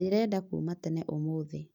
Ndĩrenda kuma tene ũmũthĩ